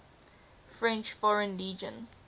french foreign legion